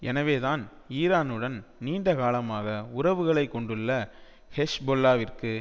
எனவேதான் ஈரானுடன் நீண்ட காலமாக உறவுகளை கொண்டுள்ள ஹெஸ்பொல்லாவிற்கு